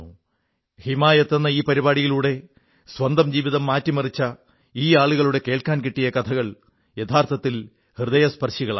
ഹിമായത് എന്ന ഈ പരിപാടിയിലൂടെ സ്വന്തം ജീവിതം മാറ്റിമറിച്ച ഈ ആളുകളുടെ കേൾക്കാൻ കിട്ടിയ കഥകൾ യഥാർഥത്തിൽ ഹൃദയസ്പർശികളാണ്